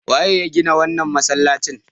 Waye ya gina wannan masalacin?